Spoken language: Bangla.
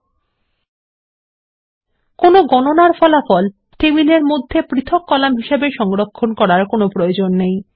টেবিলের মধ্যে গণনার ফলাফল পৃথক কলাম হিসাবে সংরক্ষণ করার প্রয়োজন নেই